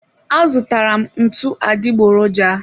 A zụtara m ntụ adịgboroja